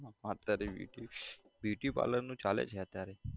હા અત્યારે beauty beauty parlour નું ચાલે છે અત્યારે